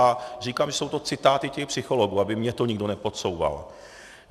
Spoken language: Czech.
A říkám, že jsou to citáty těch psychologů, aby mně to nikdo nepodsouval.